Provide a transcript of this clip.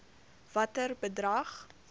watter bedrag